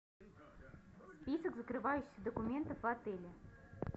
список закрывающих документов в отеле